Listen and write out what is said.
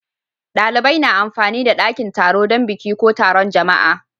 Dalibai na amfani da dakin taro dan biki ko taron jama'a.